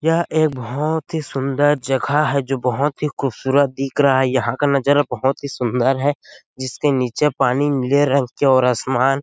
यह एक बोहोत ही सुन्दर जगह है जो बोहोत ही खूबसूरत दिख रहा है यहाँ का नजारा बहुत ही सुन्दर है जिसके नीचे पानी और आसमान --